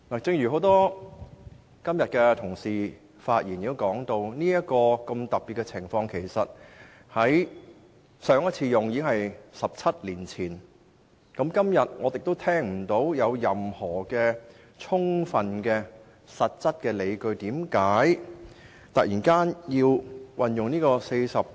正如今天多位議員在發言時也提到，對上一次出現這種特殊情況已是17年前，但今天我卻聽不到有任何充分和實質的理據支持政府要突然引用第404條。